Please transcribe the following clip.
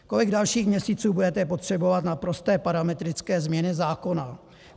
Kolik dalších měsíců budete potřebovat na prosté parametrické změny zákona?